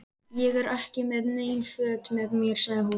Ég er ekki með nein föt með mér, sagði hún.